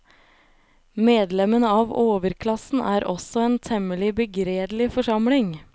Medlemmene av overklassen er også en temmelig begredelig forsamling.